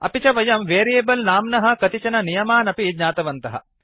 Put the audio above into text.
अपि च वयं वेरियेबल् नाम्नः कतिचन नियमान् अपि ज्ञातवन्तः